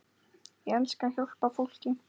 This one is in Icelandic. Ég elska að hjálpa fólki.